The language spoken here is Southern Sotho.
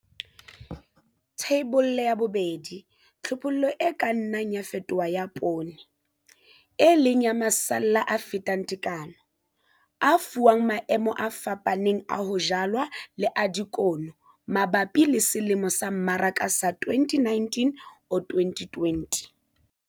Theibole ya 2. Tlhophollo e ka nnang ya fetoha ya poone, e leng ya masalla a fetang tekano, a fuwang maemo a fapaneng a ho jalwa le a dikuno mabapi le selemo sa mmaraka sa 2019-2020.